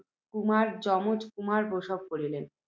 সুকুমার যমজ কুমার প্রসব করিলেন।